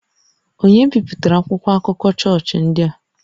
Ònye bipụtara akwụkwọ akụkọ chọọchị ndị a?